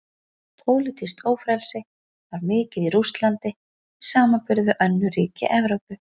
Pólitískt ófrelsi var mikið í Rússlandi í samanburði við önnur ríki Evrópu.